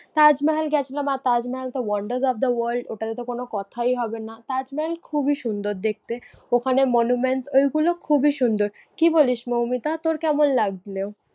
তাজমহল গেছিলাম। আর তাজমহল তো wonders of the world ওটাতেতো কোনো কথাই হবে না। তাজমহল খুবি সুন্দর দেখতে, ওখানে monuments ঐগুলো খুবি সুন্দর। কি বলিস মৌমিতা তোর কেমন লাগলো?